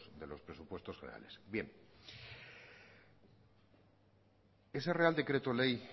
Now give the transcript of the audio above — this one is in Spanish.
de los presupuestos generales bien ese real decreto ley